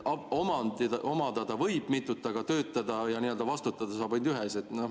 Omada võib mitut, aga töötada ja vastutada saab ainult ühes.